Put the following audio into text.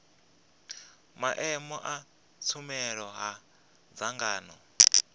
maimo a tshumelo a dzangano